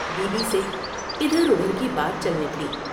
Be بی سے ادھر ادھر کی بات چل نکلی ۔